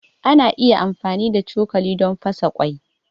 Ana iya amfani da cokali don fasa ƙwai.